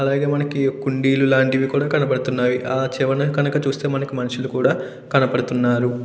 అలాగే మనకి కోని కుండీలు లాంటివి కూడా కనబతున్నాయి. ఆ చివరన కనుక చూసే మనకు మనుషులు కుడా కనపడుతున్నారు.